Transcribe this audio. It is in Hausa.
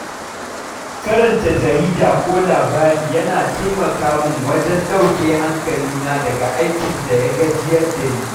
Karanta jarida ko labarai yana taimaka min wajen ɗauke hankalina daga aikin da ya gajiyar da ni.